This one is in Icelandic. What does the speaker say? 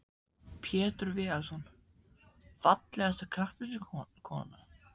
Pétur Viðarsson Fallegasta knattspyrnukonan?